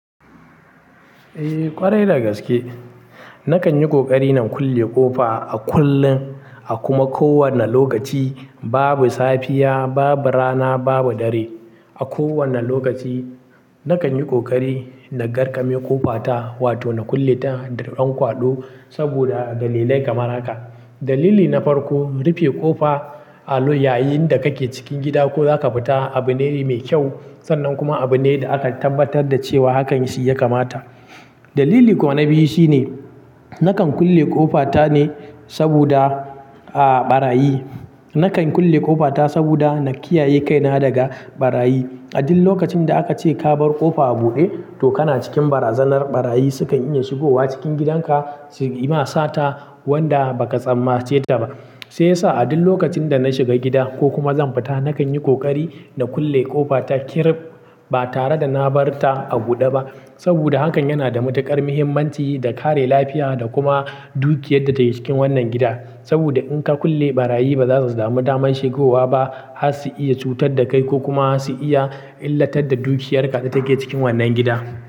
Eh ƙwarai da gaske. Nakan yi ƙoƙari na kulle ƙofa a kullum, a kuma ko wanne lokaci. Babu safiya, babu rana, babu dare. A kowane lokaci, nakan yi ƙoƙari na garƙame ƙofa ta, wato na kulle ta da ɗan kwaɗo saboda dalilai kamar haka. Dalili na farko, rufe ƙofa allo yayinda kake cikin gida ko zaka fita abune mai kyau sannan kuma abune da aka tabbatar da cewa hakan shi ya kamata. Dalili kuwa na biyu shine, nakan kulle ƙofa ta ne saboda, ah, ɓarayi. Nakan kulle ƙofa ta saboda na kiyaye kaina daga ɓarayi. A duk lokacin da aka ce ka bar ƙofa a buɗe, to kana cikin barazanar ɓarayi sukan iya shigowa cikin gidanka, suyi ma sata wanda ba ka tsammance ta ba. Sai sa a duk lokacin da na shiga gida ko kuma zan fita, nakan yi ƙoƙari na kulle ƙofa ta kirrib, ba tare da na bar ta a buɗe ba. Saboda hakan yana da matuƙar muhimmanci da kare lafiya da kuma dukiyar da take cikin wannan gida. Saboda in ka kulle ɓarayi ba za su samu daman shigowa ba, har su iya cutar da kai ko kuma su iya illatar da dukiyarka da take cikin wannan gida.